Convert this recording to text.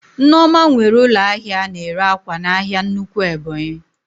Nneoma nwere ụlọ ahịa ana ere ákwà n'ahia nnukwu Ebonyi